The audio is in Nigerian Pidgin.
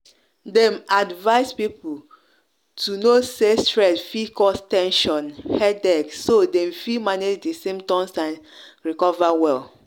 dem advise people to know say stress fit cause ten sion headache so dem fit manage di symptoms and recover well.